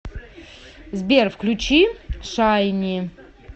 сбер включи шайни